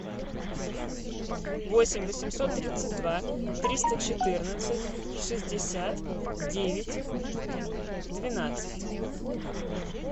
восемь восемьсот тридцать два триста четырнадцать шестьдесят девять двенадцать